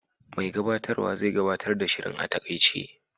Mai gabatarwa zai gabatar da shirin a taƙaice.